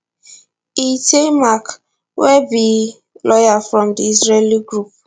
eitay mack wey be lawyer from di israeli group